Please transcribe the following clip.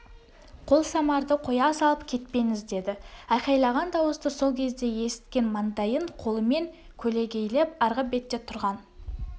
қолсамарды қоя салып кетпен іздеді айқайлаған дауысты сол кезде есіткен маңдайын қолымен көлегейлеп арғы бетте тұрған